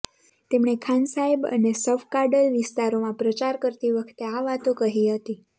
તેમણે ખાન સાહિબ અને સફકાડલ વિસ્તારોમાં પ્રચાર કરતી વખતે આ વાતો કહી હતી